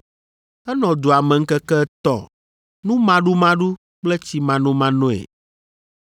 Enɔ dua me ŋkeke etɔ̃ numaɖumaɖu kple tsimanomanoe.